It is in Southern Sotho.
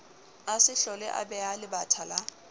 a se hloleabeha lebatha la